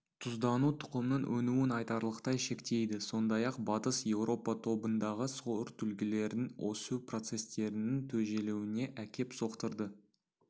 тұздану тұқымның өнуін айтарлықтай шектейді сондай-ақ батыс еуропа тобындағы сортүлгілердің өсу процестерінің тежелуіне әкеп соқтырды